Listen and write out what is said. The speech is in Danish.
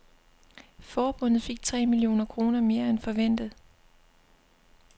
Forbundet fik tre millioner kroner mere end forventet.